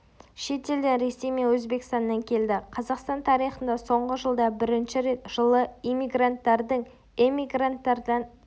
шет елден ресей мен өзбекстаннан келді қазақстан тарихында соңғы жылда бірінші рет жылы иммигранттардың эммигранттардан